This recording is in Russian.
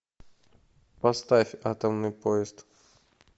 поставь атомный поезд